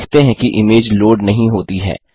हम देखते हैं कि इमेज लोड नहीं होती है